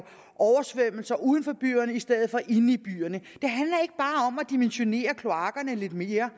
oversvømmelser uden for byerne i stedet for inde i byerne at dimensionere kloakkerne lidt mere